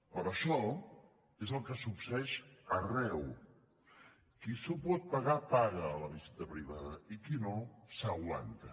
però això és el que succeeix arreu qui s’ho pot pagar paga la visita privada i qui no s’aguanta